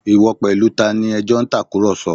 Ìwọ pẹ̀lú tani ẹ jọ ń tàkùrọ̀sọ